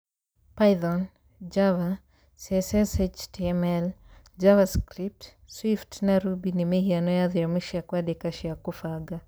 Python, Java, CSS/HTML, Javascript, Swift, na Ruby nĩ mĩhiano ya thiomi cia kwandĩka cia kũbanga